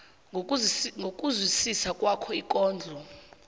ngokuzwisisa kwakho ikondlo